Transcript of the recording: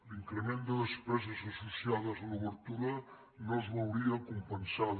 l’increment de despeses associades a l’obertura no es veuria compensada